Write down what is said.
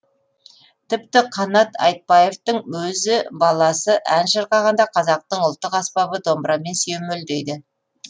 тіпті қанат айтбаевтың өзі баласы ән шырқағанда қазақтың ұлттық аспабы домбырамен сүйемелдейді